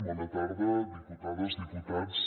bona tarda diputades diputats